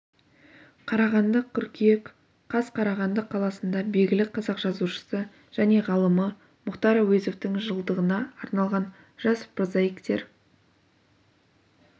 қарағанды қыркүйек қаз қарағанды қаласында белгілі қазақ жазушысы және ғалымы мұхтар әуезовтың жылдығына арналған жас прозаиктер